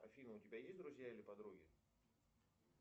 афина у тебя есть друзья или подруги